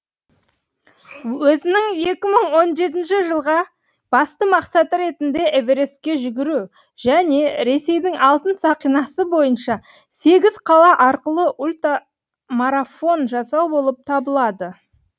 өзінің екі мың он жетінші жылға басты мақсаты ретінде эверестке жүгіру және ресейдің алтын сақинасы бойынша сегіз қала арқылы ультамарафон жасау болып табылады